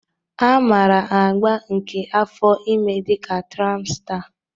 A maara agba nke afọ ime dị ka traịmsta.